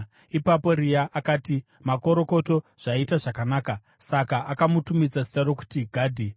Ipapo Rea akati, “Makorokoto! Zvaita zvakanaka.” Saka akamutumidza zita rokuti Gadhi.